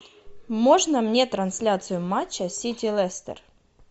можно мне трансляцию матча сити лестер